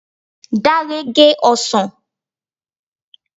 Dare gé ọsàn